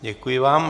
Děkuji vám.